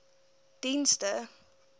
dienste